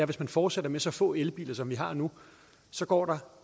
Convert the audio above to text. hvis man fortsætter med så få elbiler som vi har nu så går der